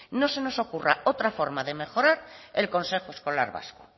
no se nos ocurra otra forma de mejorar el consejo escolar vasco